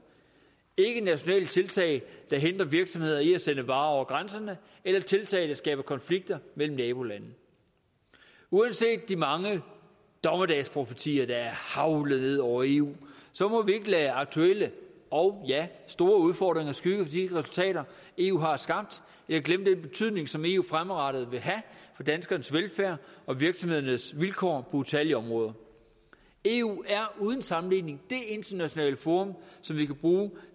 ikke nationale tiltag der hindrer virksomheder i at sende varer over grænserne eller tiltag der skaber konflikter mellem nabolande uanset de mange dommedagsprofetier der er haglet ned over eu så må vi ikke lade aktuelle og ja store udfordringer skygge for de resultater eu har skabt eller glemme den betydning som eu fremadrettet vil have for danskernes velfærd og virksomhedernes vilkår utallige områder eu er uden sammenligning det internationale forum som vi kan bruge